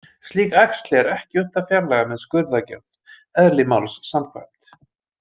Slík æxli er ekki unnt að fjarlægja með skurðaðgerð, eðli máls samkvæmt.